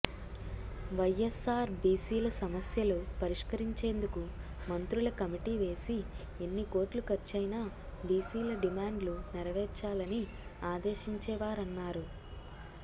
వైఎస్సార్ బీసీల సమస్యలు పరిష్కరించేందుకు మంత్రుల కమిటీ వేసి ఎన్ని కోట్లు ఖర్చయినా బీసీల డిమాండ్లు నెరవేర్చాలని ఆదేశించేవారన్నారు